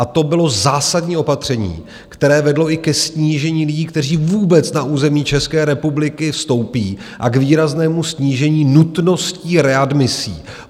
A to bylo zásadní opatření, které vedlo i ke snížení lidí, kteří vůbec na území České republiky vstoupí, a k výraznému snížení nutnosti readmisí.